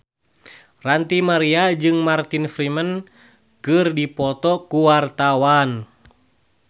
Ranty Maria jeung Martin Freeman keur dipoto ku wartawan